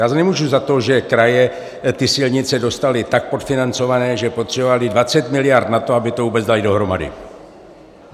Já nemůžu za to, že kraje ty silnice dostaly tak podfinancované, že potřebovaly 20 miliard na to, aby to vůbec daly dohromady.